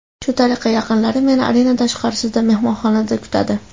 Shu tariqa yaqinlarim meni arena tashqarisida, mehmonxonada kutadi.